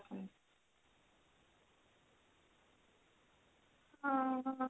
ହଁ